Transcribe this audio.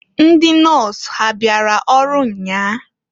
Ndị nọs ha abịara ọrụ nnyaa?